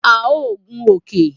A o gun òkè